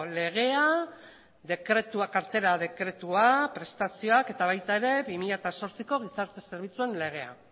lleva